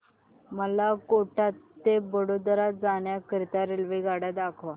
मला कोटा ते वडोदरा जाण्या करीता रेल्वेगाड्या दाखवा